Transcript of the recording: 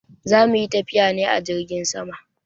Za mu yi tafiya ne a jirgin sama.